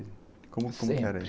Como, como que era ?empre.